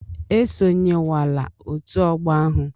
Esonyewala otu ọgbọ ahụ!